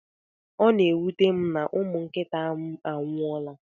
Ọ na-ewuta m na umụ nkịta m anwuola.